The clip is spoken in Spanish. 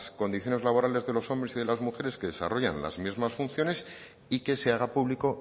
condiciones laborales de los hombres y las mujeres que desarrollan las mismas funciones y que se haga público